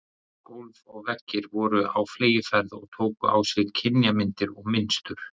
Gólf og veggir voru á fleygiferð og tóku á sig kynjamyndir og mynstur.